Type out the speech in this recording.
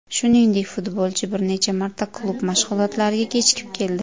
Shuningdek, futbolchi bir necha marta klub mashg‘ulotlariga kechikib keldi .